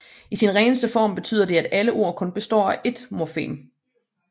I sin reneste form betyder det at alle ord kun består af ét morfem